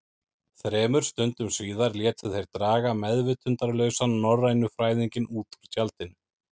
Þremur stundum síðar létu þeir draga meðvitundarlausan norrænufræðinginn út úr tjaldinu.